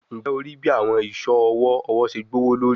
Njẹ o rii bi awọn iṣọ ọwọ ọwọ ṣe gbowolori?